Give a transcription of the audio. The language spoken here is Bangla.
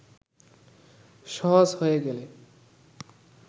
সহজ হয়ে গেলে